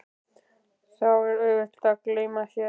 Þá var auðvelt að gleyma sér.